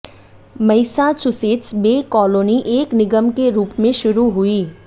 Massachusetts Bay Colony एक निगम के रूप में शुरू हुई